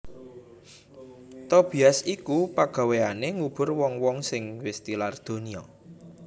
Tobias iku pagawéyané ngubur wong wong sing wis tilar donya